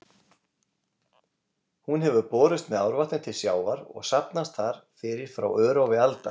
Hún hefur borist með árvatni til sjávar og safnast þar fyrir frá örófi alda.